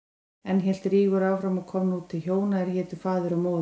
Enn hélt Rígur áfram og kom nú til hjóna sem hétu Faðir og Móðir.